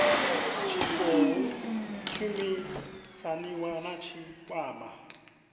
tshi khou shumisaniwa na tshikwama